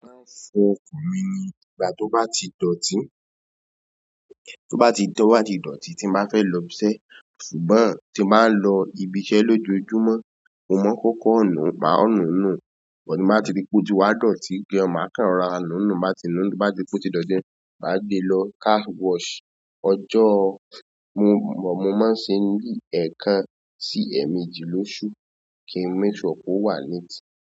Mo máa ń fọ ọkọ̀ mi ní ìgbà to ba ti dooti to ba ti- to ba ti dooti tin ba fe lo ibi iṣẹ́. Ṣùgbọ́n tí mo bá ń lọ ibiṣẹ́ lójoojúmọ́, mo mọ kó kọ́ nu, maa nu nù, but tin bá ti rí pé ó ti wá dọ̀tí, gan maa kan rọ́ra nù nu, bá ti nù, bá ti ri pé ó ti dọ̀tí, má gbe lọ car wash. Ọjọ́ mo mọ̀, mo máa ń ṣe ní ẹ̀ẹ̀kan sí ẹ̀ẹ̀méjì lóṣù kí ń make sure pé ó wà neat.